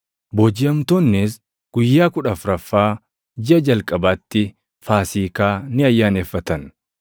Boojiʼamtoonnis guyyaa kudha afuraffaa jiʼa jalqabaatti Faasiikaa ni ayyaaneffatan.